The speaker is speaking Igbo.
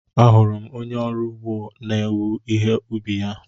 Ahụrụ m onye ọrụ ugbo na-ewe ihe ubi ya.